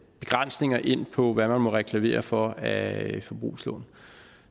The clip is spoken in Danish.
begrænsninger ind på hvad man må reklamere for af forbrugslån